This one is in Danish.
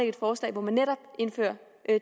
et forslag hvor man netop indfører